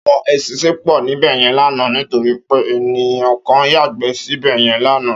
Áwòn éṣìnṣìn pò níbèyèn làná nitóri pé ènikán yágbè sibèyèn làná